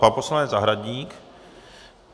Pan poslanec Zahradník.